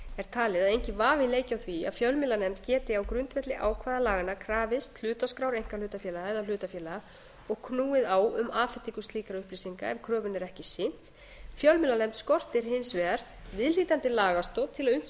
talið að enginn vafi leiki á því að fjölmiðlanefnd geti á grundvelli ákvæða laganna krafist hlutaskrár einkahlutafélaga eða hlutafélaga og knúið á um afhendingu slíkra upplýsinga ef kröfunni er ekki sinnt fjölmiðlanefnd skortir hins vegar viðhlítandi lagastoð til að unnt